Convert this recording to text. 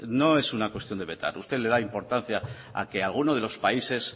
no es una cuestión de vetar usted le da importancia a que alguno de los países